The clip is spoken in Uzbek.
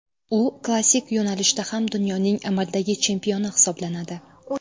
U klassik yo‘nalishda ham dunyoning amaldagi chempioni hisoblanadi.